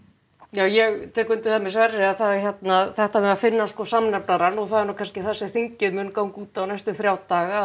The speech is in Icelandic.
já ég tek undir það með Sverri að það hérna þetta með að finna samnefnarann og það er kannski það sem þingið mun ganga út á næstu þrjá daga